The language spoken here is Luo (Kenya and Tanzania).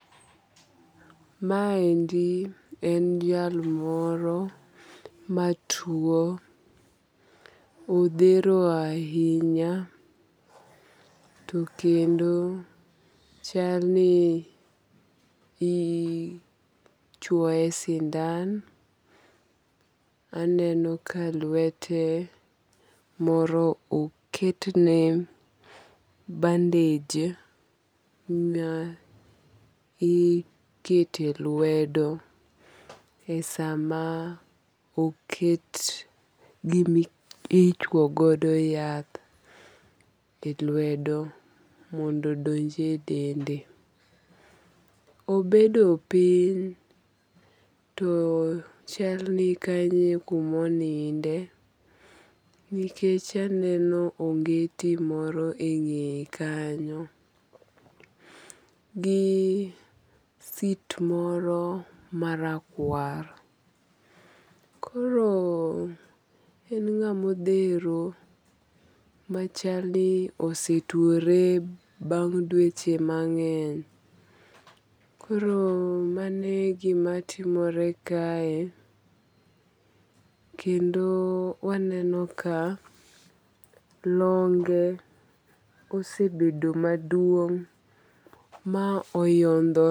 Ma endi en jal moro ma tuo. Odhero ahinya. To kendo chal ni ichwoye sindan. Aneno kalwete moro oketne bandej ma ikete lwedo e sama oket gimichwoyo godo yath e lwedo mondo donj e dende. Obedo piny. To chal ni kanyo e kumoninde. Nikech aneno ongeti moro e ng'eye kanyo gi sit moro marakwar. Koro en ng'ama odhero ma chal ni ose tuore bang' dweche mang'eny. Koro mane gimatimore kae. Kendo waneno ka longe osebedo maduong' ma oyodhore.